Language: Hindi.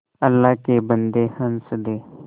अल्लाह के बन्दे हंस दे